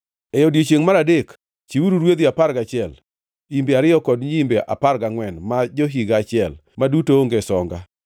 “ ‘E odiechiengʼ mar adek chiwuru rwedhi apar gachiel, imbe ariyo kod nyiimbe apar gangʼwen ma jo-higa achiel, ma duto onge songa.